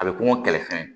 A bɛ kɔngɔ kɛlɛfɛn